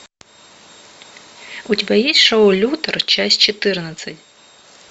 у тебя есть шоу лютера часть четырнадцать